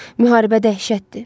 Müharibə dəhşətdir.